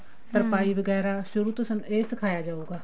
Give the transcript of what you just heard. ਤਰਪਾਈ ਵਗੈਰਾ ਸ਼ੁਰੂ ਤੋਂ ਸਾਨੂੰ ਇਹ ਸਿਖਾਇਆ ਜਾਏਗਾ